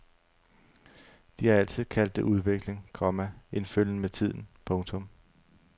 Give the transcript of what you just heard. De har altid kaldt det udvikling, komma en følgen med tiden. punktum